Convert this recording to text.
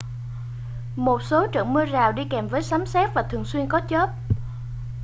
một số trận mưa rào đi kèm với sấm sét và thường xuyên có chớp